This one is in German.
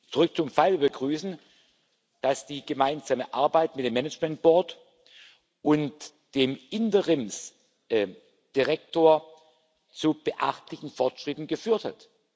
Zurück zum Fall Wir begrüßen, dass die gemeinsame Arbeit mit dem Management Board und dem Interimsdirektor zu beachtlichen Fortschritten geführt hat.